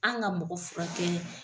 An ka mɔgɔ furakɛ